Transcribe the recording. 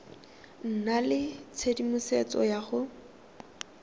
nna le tshedimosetso ya go